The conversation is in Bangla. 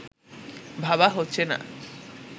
ভাবা হচ্ছে না